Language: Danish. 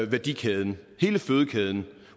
værdikæden hele fødekæden